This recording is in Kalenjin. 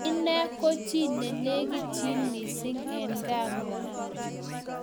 Inee ko chii ne lekitchini mising eng kaa ngwai